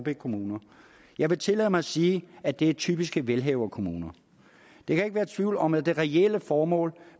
kommune jeg vil tillade mig at sige at det er typiske velhaverkommuner der kan ikke være tvivl om at det reelle formål